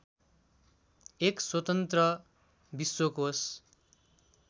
एक स्वतन्त्र विश्वकोष